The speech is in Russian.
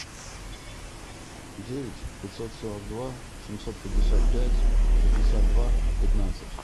девять пятьсот сорок два семьсот пятьдесят пять шестьдесят два пятнадцать